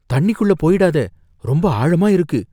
தண்ணிக்குள்ள போயிடாத. ரொம்ப ஆழமா இருக்கு!